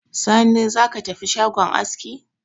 Sani, za ka tafi shagon aski